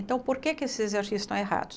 Então, por que esses exercícios estão errados?